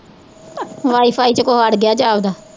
wifi ਚ ਕੁਛ ਅੜ ਗਇਆ ਜਾਪਦਾ